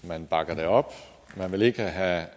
man bakker det op man vil ikke have